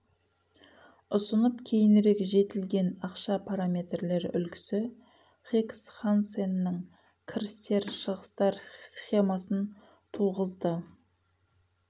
ұсынып кейінірек жетілдірген ақша параметрлері үлгісі хикс хансенның кірістер шығыстар схемасын туғызды